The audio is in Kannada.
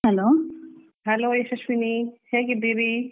Hello.